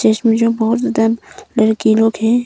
इसमें जो बहोत ज्यादा लड़की लोग है।